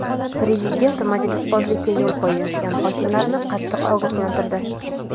Prezident majlisbozlikka yo‘l qo‘yayotgan hokimlarni qattiq ogohlantirdi.